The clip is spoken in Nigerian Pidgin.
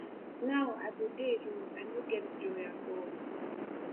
now i go dey alone i no get joy at all